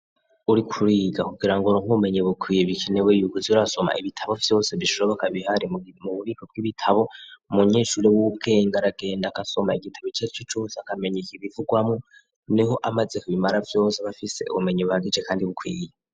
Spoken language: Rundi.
Uriko uriga kugira ngo uronke ubumenye bukwiye bikenewe iikuzi urasoma ibitabo vyose bishoboka bihari mu bubiko bw'ibitabo munyeshuri w'ubwenge aragenda agasoma igitabo carico cose akamenyi ikibivugwamo niho amaze kubimara vyose bafise ubumenyi buhagije kandi bukwiye.